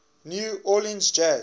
new orleans jazz